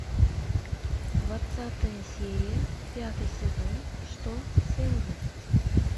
двадцатая серия пятый сезон что с энди